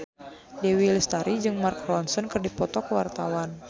Dewi Lestari jeung Mark Ronson keur dipoto ku wartawan